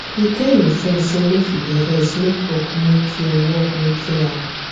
he tell hin friend say make e dey rest make work no kill work no kill am